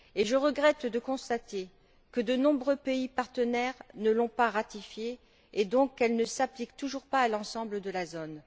Et je regrette de constater que de nombreux pays partenaires ne l'ont pas ratifiée et qu'elle ne s'applique donc toujours pas à l'ensemble de la zone.